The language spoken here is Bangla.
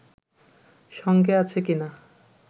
সঙ্গে আছে কিনা